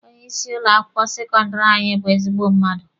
Onye isi ụlọ akwụkwọ sekọndịrị anyị bụ ezigbo mmadụ.